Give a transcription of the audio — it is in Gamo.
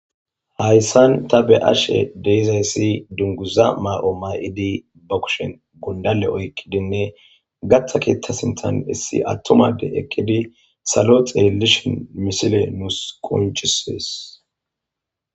Hayssan ta be ashe deizayssi dunguza maa'o may'idi ba kushen gundale oykkidinne gata keettasintan issi attomade ekkidi salo xeelishin misile nuus qunchisees.